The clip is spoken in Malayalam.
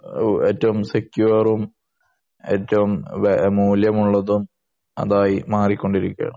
ഏറ്റവും സെക്ക്യൂറും ഏറ്റവും മൂല്യമുള്ളതും അതായി മാറിക്കൊണ്ടിരിക്കേണ്